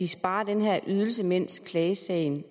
sparer den her ydelse mens klagesagen